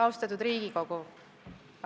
Austatud Riigikogu!